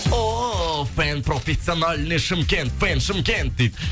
о пенпроффесиональный шымкент пен шымкент дейді